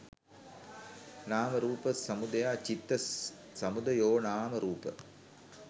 නාම රූප සමුදයා චිත්ත සමුදයෝනාම රූප